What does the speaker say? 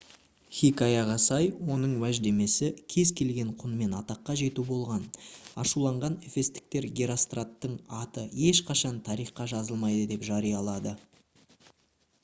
хикаяға сай оның уәждемесі кез келген құнмен атаққа жету болған ашуланған эфестіктер геростраттың аты ешқашан тарихқа жазылмайды деп жариялады